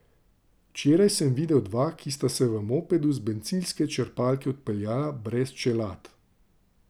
Včeraj sem videl dva, ki sta se v mopedu z bencinske črpalke odpeljala brez čelad.